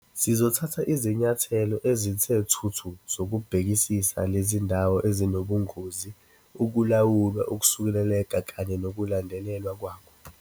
"Sizothatha izinyathelo ezithe thuthu zokubhekisisa lezi zindawo ezinobungozi, ukulawula ukusuleleka kanye nokulandelelwa kwakho."